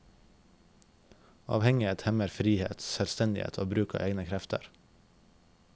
Avhengighet hemmer frihet, selvstendighet og bruk av egne krefter.